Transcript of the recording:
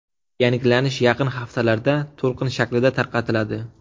Yangilanish yaqin haftalarda to‘lqin shaklida tarqatiladi.